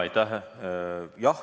Aitäh!